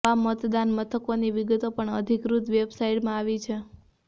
આવાં મતદાન મથકોની વિગતો પણ આ અધિકૃત વેબસાઇટમાં આવી છે